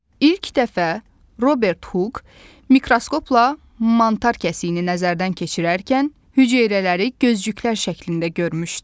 İlk dəfə Robert Huk mikroskopla mantar kəsiyini nəzərdən keçirərkən hüceyrələri gözdüklər şəklində görmüşdü.